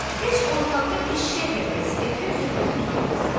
Heç ortalığa eşşəy fəqərəsi gətirib söhbəti uzatmasın.